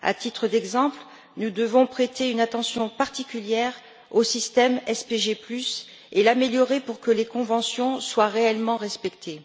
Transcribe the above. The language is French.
À titre d'exemple, nous devons prêter une attention particulière au système SPG et l'améliorer pour que les conventions soient réellement respectées.